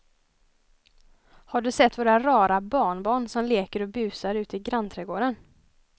Har du sett våra rara barnbarn som leker och busar ute i grannträdgården!